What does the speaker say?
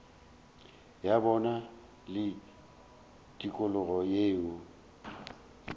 ya bona le tikologo yeo